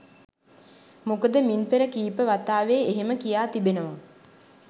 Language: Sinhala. මොකද මින් පෙර කීප වතාවේ එහෙම කියා තිබෙනවා.